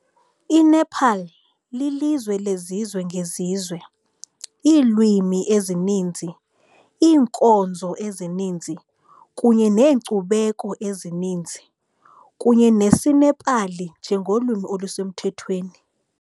INepal lilizwe lezizwe ngezizwe, iilwimi ezininzi, iinkonzo ezininzi kunye neenkcubeko ezininzi, kunye nesiNepali njengolwimi olusemthethweni.